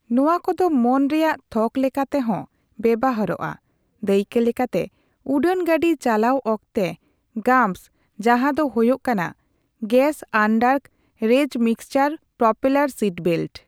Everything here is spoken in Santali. ᱱᱚᱣᱟ ᱠᱚ ᱫᱚ ᱢᱚᱱ ᱨᱮᱭᱟᱜ ᱛᱷᱚᱠ ᱞᱮᱠᱟᱛᱮ ᱦᱚᱸ ᱵᱮᱣᱦᱟᱨᱚᱜᱼᱟ, ᱫᱟᱹᱭᱠᱟᱹ ᱞᱮᱠᱟᱛᱮ ᱩᱰᱟᱹᱱ ᱜᱟᱹᱰᱤ ᱪᱟᱞᱟᱣ ᱚᱠᱛᱮ ᱺ ''ᱜᱟᱢᱯᱥ'', ᱡᱟᱦᱟᱸ ᱫᱚ ᱦᱳᱭᱳᱜ ᱠᱟᱱᱟ ''ᱜᱮᱥᱼᱟᱱᱰᱟᱨᱠᱮᱨᱮᱡᱽᱼᱢᱤᱠᱥᱪᱟᱨᱼᱯᱨᱚᱯᱮᱹᱞᱟᱨᱼᱥᱤᱴᱵᱮᱞᱴ'' ᱾